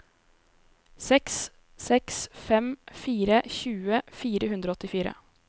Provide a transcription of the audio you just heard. seks seks fem fire tjue fire hundre og åttifire